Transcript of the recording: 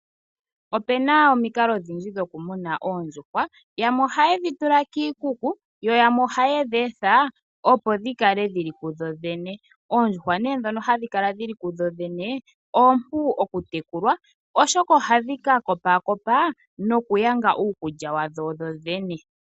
Opu na omikalo odhindji dhokumuna oondjuhwa yamwe ohaye dhi tula kiikuku yo yamwe ohaye dhi etha, opo dhi kale dhi li kudhodhene. Oondjuhwa nee ndhono hadhi kala dhi li kudhodhene oompu okutekulwa, oshoka ohadhi ka kopakopa nokuyanga uukulya wadho dhodhene.